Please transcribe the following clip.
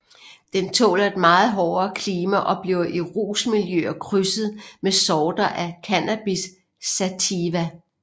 Den tåler et meget hårdere klima og bliver i rusmiljøer krydset med sorter af Cannabis sativa